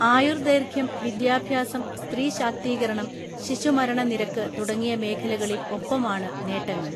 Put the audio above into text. ആയുർദൈർഘ്യം വിദ്യാഭ്യാസം സ്ത്രീ ശാക്തീകരണം ശിശുമരണ നിരക്ക് തുടങ്ങിയ മേഖലകളിൽ ഒപ്പമാണ് നേട്ടങ്ങൾ